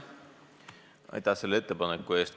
Aitäh selle ettepaneku eest!